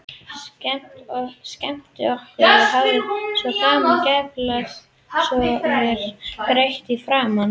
Skemmt okkur og haft svo gaman, geiflað svo og grett í framan.